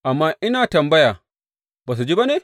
Amma ina tambaya, Ba su ji ba ne?